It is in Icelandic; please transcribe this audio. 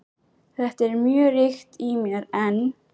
Þetta er mjög ríkt í mér enn.